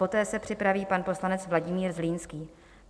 Poté se připraví pan poslanec Vladimír Zlínský.